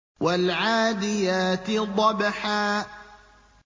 وَالْعَادِيَاتِ ضَبْحًا